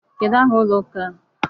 Kedụ aha ụlọ ụka a?